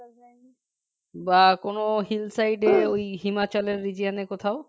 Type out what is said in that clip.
বা কোন hillside এ ওই Himachal এর region এ কোথাও